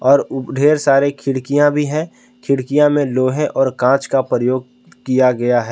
और उ ढेर सारे खिड़कियां भी हैं खिड़कियां में लोहे और कांच का प्रयोग किया गया है।